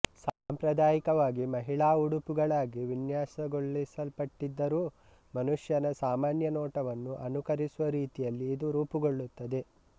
ಸಾಂಪ್ರದಾಯಿಕವಾಗಿ ಮಹಿಳಾ ಉಡುಪುಗಳಾಗಿ ವಿನ್ಯಾಸಗೊಳಿಸಲ್ಪಟ್ಟಿದ್ದರು ಮನುಷ್ಯನ ಸಾಮಾನ್ಯ ನೋಟವನ್ನು ಅನುಕರಿಸುವ ರೀತಿಯಲ್ಲಿ ಇದು ರೂಪುಗೊಳ್ಳುತ್ತದೆ